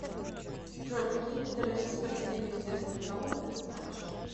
джой какие виды российская академия естественных наук ты знаешь